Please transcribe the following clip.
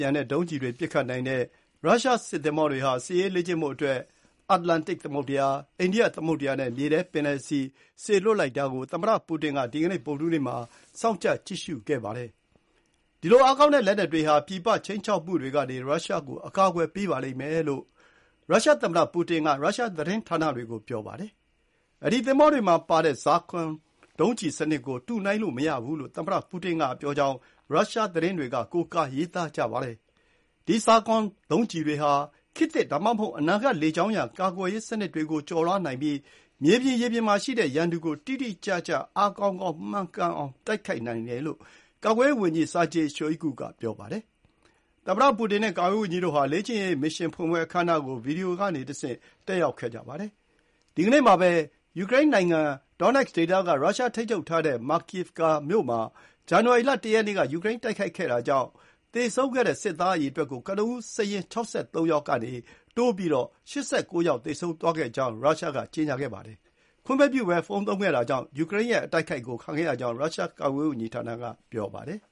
ြန်တဲ့ဒုံးကျည်တွေ ပစ်ခတ်နိုင်တဲ့ ရုရှားစစ်သင်္ဘောတွေဟာ စစ်ရေးလေ့ကျင့်ဖို့ အတ္တလန်တစ်သမုဒ္ဒရာ၊ အိန္ဒိယသမုဒ္ဒရာနဲ့မြေထဲပင်လယ်ဆီ စေလွှတ်လိုက်တာကို သမ္မတပူတင်က ဒီကနေ့ ဗုဒ္ဒဟူးနေ့မှာ စောင့်ကြပ်ကြည့်ရှုနေပါတယ်။ ဒီလို အားကောင်းတဲ့ လက်နက်တွေဟာ ပြည်ပ ခြိမ်းခြောက်မှုတွေကနေ ရုရှားကို အကာအကွယ်ပေးပါလိမ့်မယ်လို့ ရုရှားသမ္မတပူတင်က ရုရှားသတင်းဌာနတွေကို ပြောပါတယ်။ အဲဒီ သင်္ဘောတွေပေါ်မှာပါတဲ့ Zircon ဒုံးကျည်စနစ်ကို တုနှိုင်းလို့မရဘူးလို့ သမ္မတပူတင်ကပြောကြောင်း ရုရှားသတင်းတွေက ကိုးကားရေးသားကြပါတယ်။ ဒီ Zircon ဒုံးကျည်တွေဟာခေတ်သစ် ဒါမှမဟုတ် အနာဂတ် လေကြောင်းရန် ကာကွယ်ရေးစနစ်တွေကို ကျော်လွှားနိုင်ပြီး မြေပြင် ရေပြင်မှာရှိတဲ့ရန်သူကို တိတိကျကျ အားကောင်းကောင်း မှန်အောင်တိုက်ခိုက်နိုင်တယ်လို့ ကာကွယ်ရေးဝန်ကြီး Sergei Shoigu က ပြောပါတယ်။ သမ္မတပူတင်နဲ့ကာကွယ်ရေးဝန်ကြီးတို့ဟာ လေ့ကျင့်ရေး မစ်ရှင်ဖွင့်ပွဲအခမ်းအနားကို ဗွီဒီယိုကနေတဆင့် တက်ရောက်ခဲ့ကြပါတယ်။ ဒီနေ့မှာပဲ ယူကရိန်းနိုင်ငံ Donetsk ဒေသက ရုရှားထိန်းချုပ်ထားတဲ့ Makiivka မြို့မှာ ဇန်နဝါရီ ၁ ရက်နေ့က ယူကရိန်းတိုက်ခိုက်တာကြောင့် သေဆုံးခဲ့တဲ့ စစ်သားအရေအတွက်ကို ကနဦးစာရင်း ၆၃ ယောက်ကိုတိုးပြီး ၈၉ ယောက် သေဆုံးသွားခဲ့ကြောင်း၊ ခွင့်မပြုဘဲဖုန်းသုံးခဲ့တာကြောင့် ယူကရိန်းရဲ့အတိုက် အခိုက်ကိုခံခဲ့ရကြောင်း ရုရှားကာကွယ်ရေးဝန်ကြီးဌာနက ပြောပါတယ်။